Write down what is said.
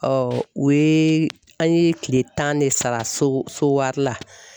o ye an ye kile tan ne sara so so wari la.